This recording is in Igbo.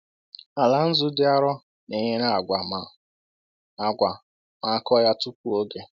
Ala nzu dị arọ na-enyere agwa ma a agwa ma a kụọ ya tupu oge.